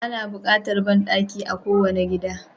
Ana bukatar banɗaki a kowane gida